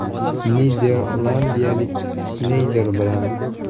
Niderlandiyalik Sneyder bilan.